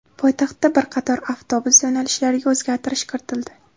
Poytaxtda bir qator avtobus yo‘nalishlariga o‘zgartirish kiritildi.